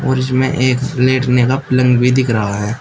और इसमें एक लेटने का पलंग भी दिख रहा है।